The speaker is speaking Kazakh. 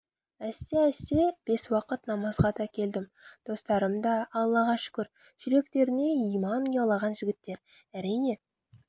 әсте-әсте бес уақыт намазға да келдім достарым да аллаға шүкір жүректеріне иман ұялаған жігіттер әрине